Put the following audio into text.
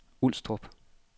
Ulstrup